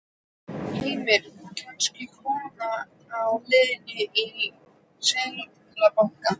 Heimir: Kannski kona á leiðinni í Seðlabankann?